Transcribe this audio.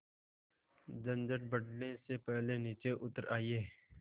झंझट बढ़ने से पहले नीचे उतर आइए